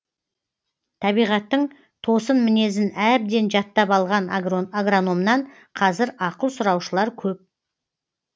табиғаттың тосын мінезін әбден жаттап алған агрономнан қазір ақыл сұраушылар көп